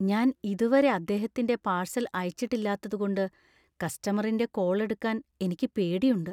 ഞാൻ ഇതുവരെ അദ്ദേഹത്തിന്‍റെ പാഴ്സൽ അയച്ചിട്ടില്ലാത്തതുകൊണ്ട് കസ്റ്റമറിന്‍റെ കോൾ എടുക്കാൻ എനിക്ക് പേടിയുണ്ട്.